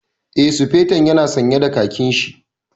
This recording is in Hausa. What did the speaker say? Eh, Sufeton ya na sanye da khakin shi